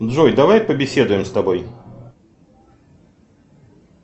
джой давай побеседуем с тобой